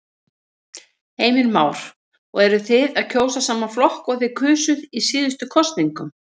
Heimir Már: Og eruð þið að kjósa sama flokk og þið kusuð í síðustu kosningum?